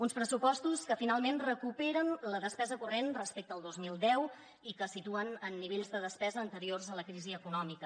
uns pressupostos que finalment recuperen la despesa corrent respecte al dos mil deu i que situen en nivells de despesa anteriors a la crisi econòmica